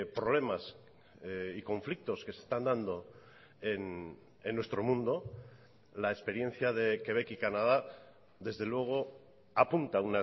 problemas y conflictos que se están dando en nuestro mundo la experiencia de quebec y canadá desde luego apunta